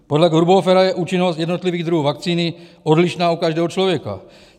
Podle Grubhoffera je účinnost jednotlivých druhů vakcíny odlišná u každého člověka.